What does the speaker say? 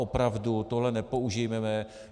Opravdu tohle nepoužívejme.